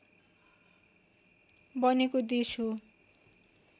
बनेको देश हो